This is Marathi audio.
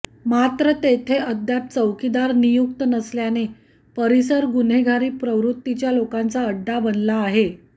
मात्र तेथे अद्याप चौकीदार नियुक्त नसल्याने परिसर गुन्हेगारी प्रवृत्तीच्या लोकांचा अड्डा बनला आहे